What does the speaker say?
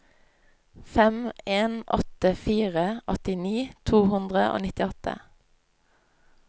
fem en åtte fire åttini to hundre og nittiåtte